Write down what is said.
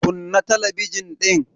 Kunna talabijin dinnan.